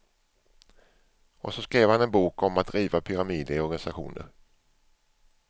Och så skrev han en bok om att riva pyramider i organisationer.